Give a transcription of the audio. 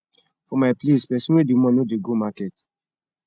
for my place pesin wey dey mourn no dey go market